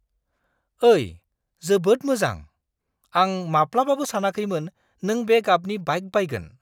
ओइ, जोबोद मोजां! आं माब्लाबाबो सानाखैमोन नों बे गाबनि बाइक बायगोन!